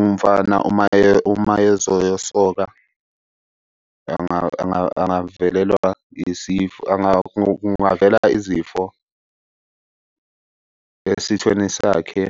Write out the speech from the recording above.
umfana uma ezoyosoka angavelelwa isifo. Kungavela izifo esithweni sakhe.